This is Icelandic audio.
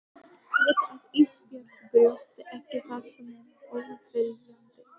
Viti að Ísbjörg brjóti ekki vasa nema óviljandi.